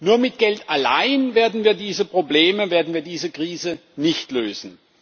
Nur mit Geld allein werden wir diese Probleme, werden wir diese Krise nicht lösen.